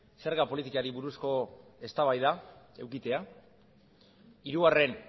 zerga politikari buruzko eztabaida edukitzea hirugarren